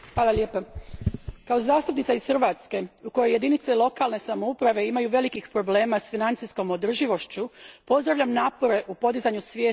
Kao zastupnica iz Hrvatske u kojoj jedinice lokalne samouprave imaju velikih problema s financijskom održivošću, pozdravljam napore u podizanju svijesti o ovom pitanju.